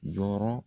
Dɔrɔn